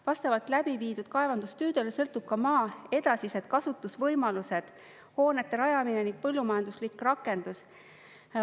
Vastavalt läbiviidud kaevandustöödele sõltub ka maa edasised kasutusvõimalused, hoonete rajamine ning põllumajanduslik rakendus.